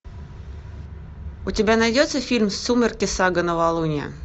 у тебя найдется фильм сумерки сага новолуние